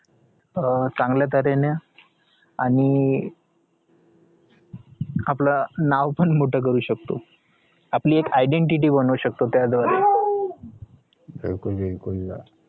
अं चांगल्या तर्हेने आणि आपलं नावपण मोठं करू शकतो आपली एक identity बनवू शकतो